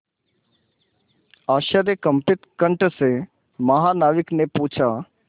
आश्चर्यकंपित कंठ से महानाविक ने पूछा